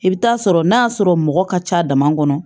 I bɛ taa sɔrɔ n'a y'a sɔrɔ mɔgɔ ka ca dama kɔnɔ